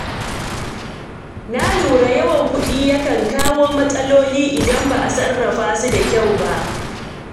Na lura yawan kuɗi yakan kawo matsaloli idan ba a sarrafa su da kyau ba.